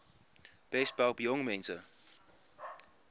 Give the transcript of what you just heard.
besp help jongmense